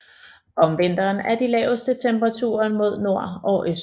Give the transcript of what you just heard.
Om vinteren er de laveste temperaturen mod nord og øst